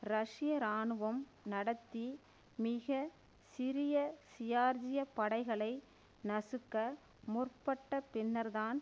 ரஷ்ய இராணுவம் நடத்தி மிக சிறிய ஜியார்ஜிய படைகளை நசுக்க முற்பட்ட பின்னர்தான்